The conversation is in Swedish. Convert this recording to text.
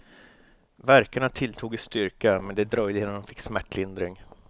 Värkarna tilltog i styrka, men det dröjde innan hon fick smärtlindring.